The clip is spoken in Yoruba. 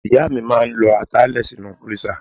Ìyá mi máa ń lọ ata lè sínú freezer.